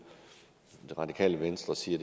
det radikale venstre siger